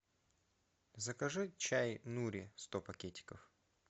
закажи чай нури сто пакетиков